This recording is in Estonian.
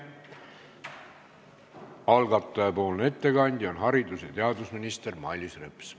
Algataja ettekandja on haridus- ja teadusminister Mailis Reps.